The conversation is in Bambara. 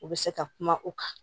U bɛ se ka kuma u kan